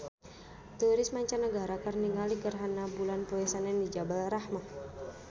Turis mancanagara keur ningali gerhana bulan poe Senen di Jabal Rahmah